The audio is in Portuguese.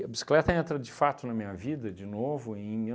a bicicleta entra de fato na minha vida de novo em mil